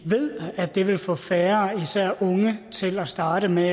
ved at det vil få færre især unge til at starte med